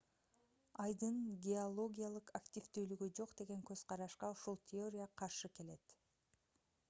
айдын геологиялык активдүүлүгү жок деген көз-карашка ушул теория каршы келет